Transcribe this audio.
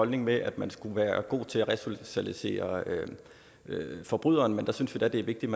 holdning med at man skulle være god til at resocialisere forbryderen men vi synes da det er vigtigt